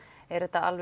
er þetta